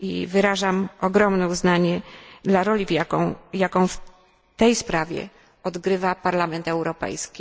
Wyrażam ogromne uznanie dla roli, jaką w tej sprawie odgrywa Parlament Europejski.